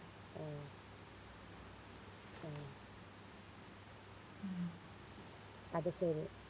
ആഹ് ആഹ് അത് ശെരി